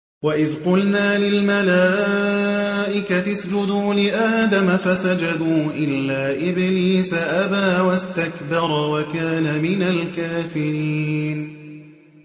وَإِذْ قُلْنَا لِلْمَلَائِكَةِ اسْجُدُوا لِآدَمَ فَسَجَدُوا إِلَّا إِبْلِيسَ أَبَىٰ وَاسْتَكْبَرَ وَكَانَ مِنَ الْكَافِرِينَ